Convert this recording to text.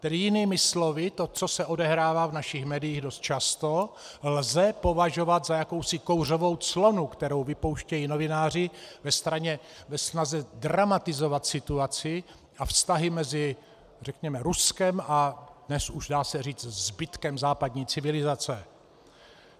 Tedy jinými slovy, to, co se odehrává v našich médiích dost často, lze považovat za jakousi kouřovou clonu, kterou vypouštějí novináři ve snaze dramatizovat situaci a vztahy mezi řekněme Ruskem a dnes už dá se říct zbytkem západní civilizace.